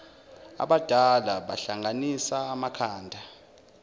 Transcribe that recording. abadala bahlanganisa amakhanda